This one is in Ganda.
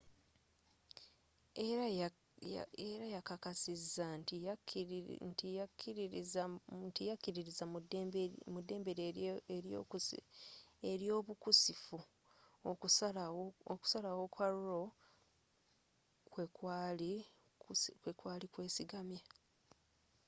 era yakkakkasizza nti yakkiririza mu ddembe lye ely'obukusifu okusalawo kwa roe kwekwaali kwesigamye